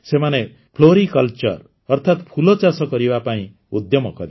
ସେମାନେ ଫ୍ଲୋରିକଲଚର ଅର୍ଥାତ୍ ଫୁଲଚାଷ କରିବା ପାଇଁ ଉଦ୍ୟମ କଲେ